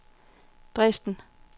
Dresden